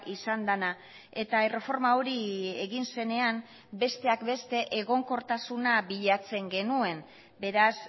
izan dena eta erreforma hori egin zenean besteak beste egonkortasuna bilatzen genuen beraz